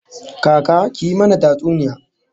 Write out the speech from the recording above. Kaka, ki yi mana tatsuniya